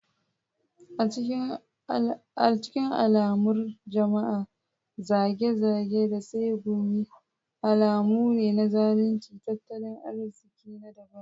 A cikin al'amuran jama'a, zage-zage da tsegumi alamu ne na zaluncin tattalin arziki na dabara.